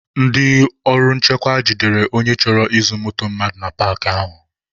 Ndị ọrụ nchekwa jidere onye chọrọ izu moto mmadụ na paakị ahụ